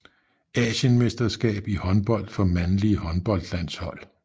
Asienmesterskab i håndbold for mandlige håndboldlandshold